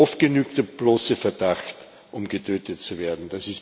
Oft genügt der bloße Verdacht um getötet zu werden.